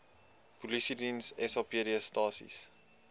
polisiediens sapd stasies